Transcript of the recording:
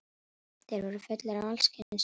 Þeir voru fullir af alls kyns dóti.